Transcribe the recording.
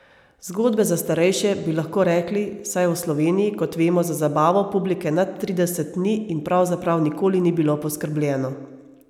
Zgodbe za starejše, bi lahko rekli, saj v Sloveniji, kot vemo za zabavo publike nad trideset ni in pravzaprav nikoli ni bilo poskrbljeno.